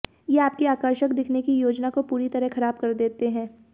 ये आपकी आकर्षक दिखने की योजना को पूरी तरह ख़राब कर देते हैं